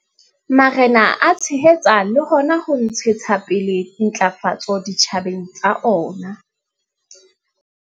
Marena a tshehetsa le hona ho ntshetsa pele ntlafatso ditjhabeng tsa ona.